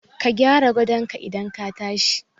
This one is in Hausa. Ka gyara gadon ka idan ka tashi